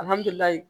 Alihamudulila